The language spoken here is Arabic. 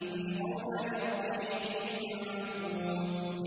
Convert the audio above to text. يُسْقَوْنَ مِن رَّحِيقٍ مَّخْتُومٍ